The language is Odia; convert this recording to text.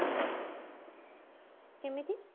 କେମିତି